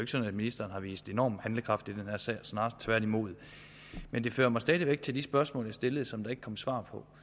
sådan at ministeren har vist enorm handlekraft i den her sag snarere tværtimod men det fører mig stadig væk til de spørgsmål jeg stillede og som der ikke kom svar på